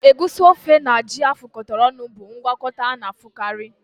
Egusi ofe na ji afụkọta ọnụ bụ ngwakọta a na-ahụkarị